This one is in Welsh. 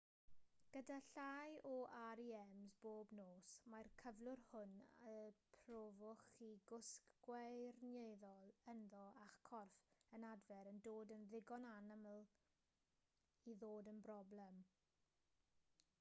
gyda llai o rems bob nos mae'r cyflwr hwn y profwch chi gwsg gwirioneddol ynddo a'ch corff yn adfer yn dod yn ddigon anaml i ddod yn broblem